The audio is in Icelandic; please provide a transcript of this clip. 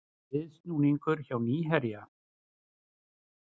Viðsnúningur hjá Nýherja